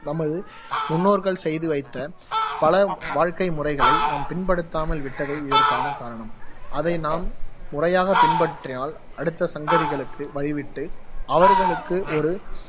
நமது முன்னோர்கள் செய்து வைத்த பல வாழ்க்கை முறைகளை நாம் பின்படுத்தாமல் விட்டதே இதற்கான காரணம், அதை நாம் முறையாக பின்பற்றினால் அடுத்த சங்கதிகளுக்கு வழிவிட்டு அவர்களுக்கு ஒரு